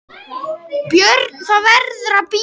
BJÖRN: Það verður að bíða.